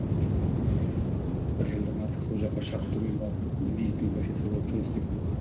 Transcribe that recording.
сол жерде бір жылдан артық сол жаққа шақыртумен барып визитный профессор болып жұмыс істеп келді